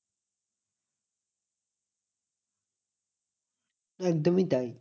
একদমই তাই।